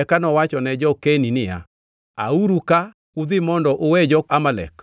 Eka nowachone jo-Keni niya, “Auru ka udhi mondo uwe jo-Amalek